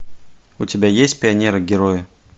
у тебя есть пионеры герои